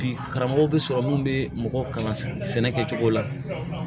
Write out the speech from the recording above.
Bi karamɔgɔ bɛ sɔrɔ mun bɛ mɔgɔw kalan sɛnɛ kɛcogo la